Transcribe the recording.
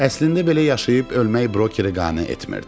Əslində belə yaşayıb ölmək brokeri qane etmirdi.